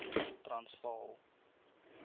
transvaal